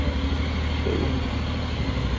Okay.